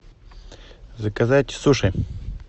заказать суши